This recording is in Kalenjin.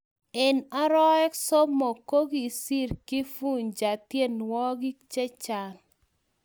eng oroek somok, kokiser Kifuja tienwogik chechang